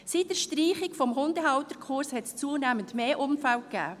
Seit der Streichung des Hundehalterkurses hat es zunehmend mehr Unfälle gegeben.